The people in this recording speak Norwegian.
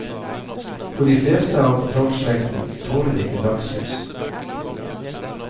For de fleste av trollslekten tåler ikke dagslys.